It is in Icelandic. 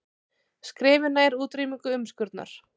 Skrefi nær útrýmingu umskurnar